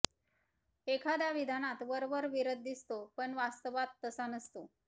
एखाद्या विधानात वरवर विरोध दिसतो पण वास्तवात तसा नसतो